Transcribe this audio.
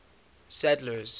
sadler's